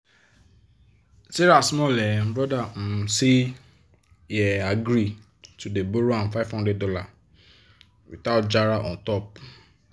sarah small um brother um say he um agree to dey borrow ahm five hundred dollars without jara on top.